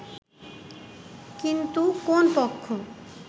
কিন্তু কোন পক্ষ